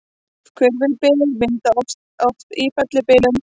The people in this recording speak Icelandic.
Hvirfilbyljir myndast oft í fellibyljum.